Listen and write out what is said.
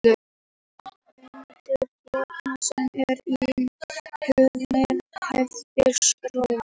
Sá endi hárs sem er inni í húðinni nefnist rót.